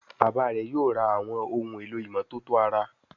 Bàbá rẹ yóò rà Àwọn ohun èlò ìmọ́tótó ara